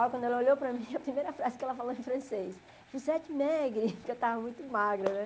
Olha, quando ela olhou para mim, a primeira frase que ela falou em francês, você é de maigre, porque eu estava muito magra, né?